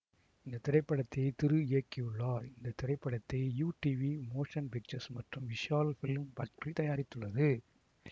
இந்த திரைப்படத்தை திரு இயக்கியுள்ளார் இந்த திரைப்படத்தை யுடிவி மோஷன் பிக்சர்ஸ் மற்றும் விஷால் பிலிம் பாக்டரி தாயரித்துள்ளது